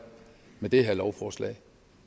med det her lovforslag